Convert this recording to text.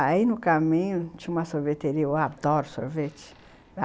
Aí no caminho tinha uma sorveteria, eu adoro sorvete.